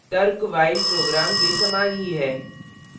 तर्क while program के समान ही है